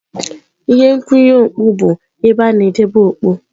Ihe nkwụnye okpu bụ ebe a na-edebe okpu.